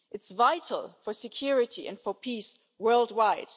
It's vital for security and for peace worldwide.